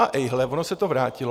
A ejhle, ono se to vrátilo.